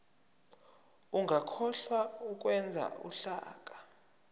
ungakhohlwa ukwenza uhlaka